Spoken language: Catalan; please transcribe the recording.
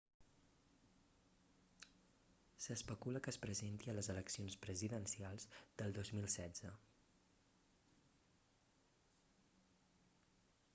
s'especula que es presenti a les eleccions presidencials del 2016